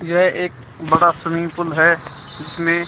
यह एक बड़ा स्विमिंग पूल है इसमें--